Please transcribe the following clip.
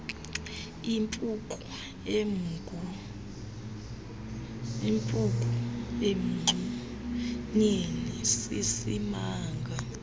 impuku emgubeni sisimanga